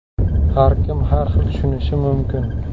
Har kim har xil tushunishi mumkin.